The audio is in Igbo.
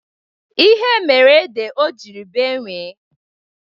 Ihe mere ede o jiri bee nwii.